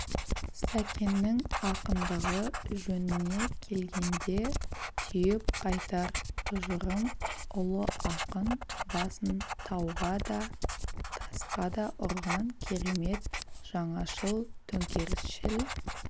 сәкеннің ақындығы жөніне келгенде түйіп айтар тұжырым ұлы ақын басын тауға да тасқа да ұрған керемет жаңашыл төңкерісшіл